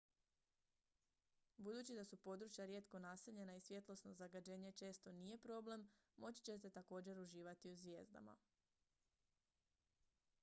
budući da su područja rijetko naseljena i svjetlosno zagađenje često nije problem moći ćete također uživati u zvijezdama